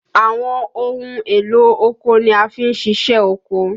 Àwọn ohun èlò oko ni a fi n ṣiṣẹ́ oko